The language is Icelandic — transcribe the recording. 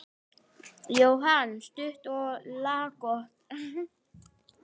Jóhann: Stutt og laggott?